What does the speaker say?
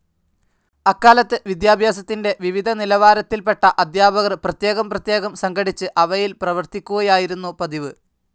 അക്കാലത്ത് വിദ്യാഭ്യാസത്തിന്റെ വിവിധ നിലവാരത്തിൽപെട്ട അധ്യാപകർ പ്രത്യേകം പ്രത്യേകം സംഘടിച്ച് അവയിൽ പ്രവർത്തിക്കുകയായിരുന്നു പതിവ്.